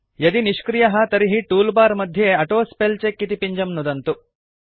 यदि निष्क्रियः तर्हि टूल बार मध्ये ऑटोस्पेलचेक इति पिञ्जं नुदन्तु